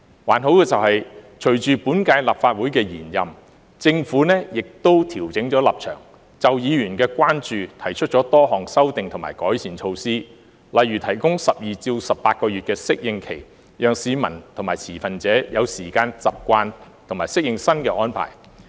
還好的是，隨着本屆立法會延任，政府亦調整了立場，就議員的關注提出多項修訂和改善措施，例如提供12至18個月的適應期，讓市民和持份者有時間習慣和適應新的安排。